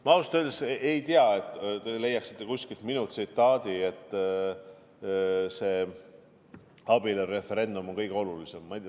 Ma ausalt öeldes ei usu, et te leiaksite kuskilt minu tsitaadi, et abielureferendum on kõige olulisem.